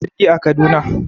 Audu ya hau jirgi a Kaduna.